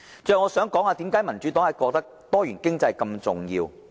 最後我想談談，為甚麼民主黨認為多元經濟這麼重要。